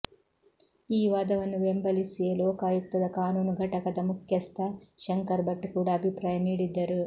ಈ ವಾದವನ್ನು ಬೆಂಬಲಿಸಿಯೇ ಲೋಕಾಯುಕ್ತದ ಕಾನೂನು ಘಟಕದ ಮುಖ್ಯಸ್ಥ ಶಂಕರ್ ಭಟ್ ಕೂಡ ಅಭಿಪ್ರಾಯ ನೀಡಿದ್ದರು